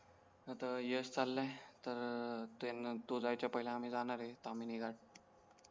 आता यश चालाय तर त्यांना तो जायचा पहिले आम्ही जाणार आहे तामिनी घाट